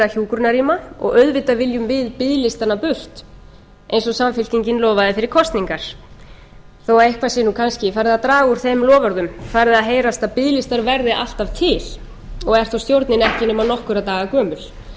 hjúkrunarrýma og auðvitað viljum við biðlistana burt eins og samfylkingin lofaði fyrir kosningar þó að eitthvað sé nú kannski farið að draga úr þeim loforðum farið að heyrast að biðlistar verði alltaf til og er þó stjórnin ekki nema nokkurra daga gömul